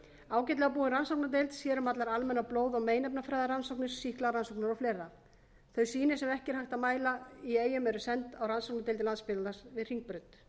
ágætlega búin rannsóknardeild sér um allar almennar blóð og meinefnafræðirannsóknir sýklarannsóknir og fleiri þau sýni sem ekki er hægt að mæla í eyjum eru send á rannsóknardeildir landspítalans við hringbraut